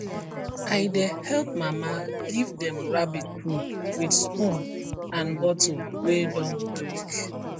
i dey help mama give dem rabbit food with spoon and bottle wey don break